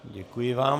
Děkuji vám.